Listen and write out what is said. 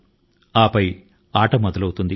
ఇక ఆట ను ఆడడాని కి సిద్ధం గా ఉంది